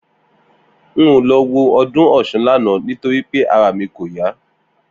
N ò lo̩ wo o̩dún Ò̩s̩un lánàá nítorí pé ara mi kò yá